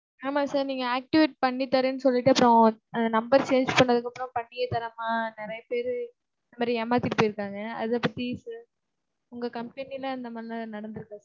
ஆமா sir, நீங்க activate பண்ணி தரேன்னு சொல்லிட்டு அப்புறம், அந்த number change பண்ணதுக்கு அப்புறம் பண்ணியே தராம, நிறைய பேரு இந்த மாதிரி ஏமாத்திட்டு போயிருக்காங்க. அத பத்தி sir, உங்க company ல அது மாதிரிலாம் நடந்துருக்கா?